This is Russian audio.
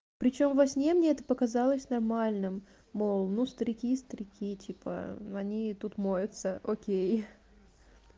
причём во сне мне это показалось нормальным мол ну старики старики типа они тут моются окей